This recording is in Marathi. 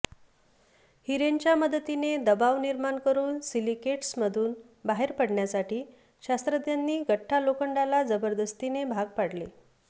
हिरेंच्या मदतीने दबाव निर्माण करून सिलिकेट्समधून बाहेर पडण्यासाठी शास्त्रज्ञांनी गठ्ठा लोखंडाला जबरदस्तीने भाग पाडले